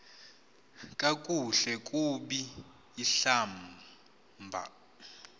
kakuhle kub ihlab